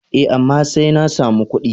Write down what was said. E, amma sai na samu ƙuɗi.